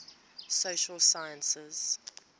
social sciences